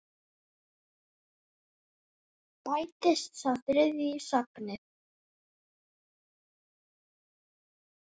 Bætist sá þriðji í safnið?